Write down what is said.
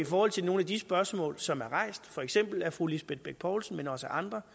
forhold til nogle af de spørgsmål som er rejst for eksempel af fru lisbeth bech poulsen men også af andre